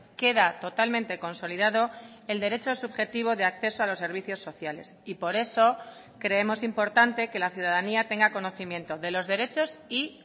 queda totalmente consolidado el derecho subjetivo de acceso a los servicios sociales y por eso creemos importante que la ciudadanía tenga conocimiento de los derechos y